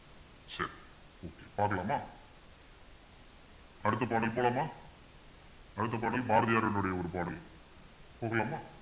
பார்க்கலாமா அடுத்த பாடாலுக்கு போலாமா அடுத்த பாடல் பாரதியாரினுடைய ஒரு பாடல் போகலாமா